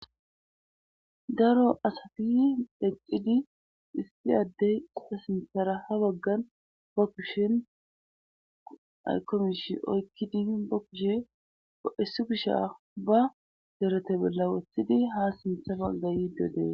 Daro asafi dheccidi issi addey a sinsara ha baggan bokkushin aykomsh oykki di bokkushe 7esu bisha ba derete bolla wothidi ha simsa bangay dode